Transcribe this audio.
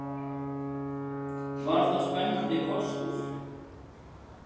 Var það spennandi kostur?